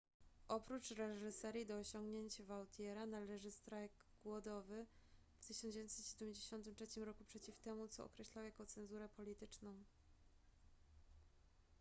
oprócz reżyserii do osiągnięć vautiera należy strajk głodowy w 1973 roku przeciw temu co określał jako cenzurę polityczną